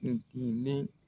N ti ne